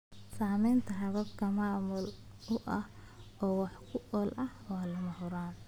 Samaynta habab maamul oo wax ku ool ah waa lama huraan.